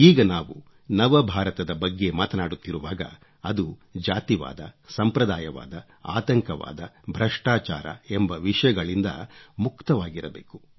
ಈಗ ನಾವು ನವಭಾರತದ ಬಗ್ಗೆ ಮಾತನಾಡುತ್ತಿರುವಾಗ ಅದು ಜಾತಿವಾದ ಸಂಪ್ರದಾಯವಾದ ಆತಂಕವಾದ ಭ್ರಷ್ಟಾಚಾರ ಎಂಬ ವಿಷಗಳಿಂದ ಮುಕ್ತವಾಗಿರಬೇಕು